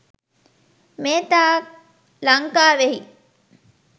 මේ තාක් ලංකාවෙහි